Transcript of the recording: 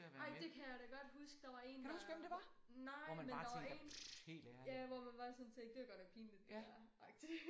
Ej det kan jeg kan da godt huske der var én der nej men der var én ja hvor man bare sådan tænkte det var godt nok pinligt det dér agtigt